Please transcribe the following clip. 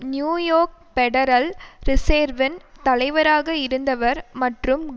new York federal ரிசேர்வின் தலைவராக இருந்தவர் மற்றும்